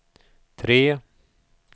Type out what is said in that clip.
tre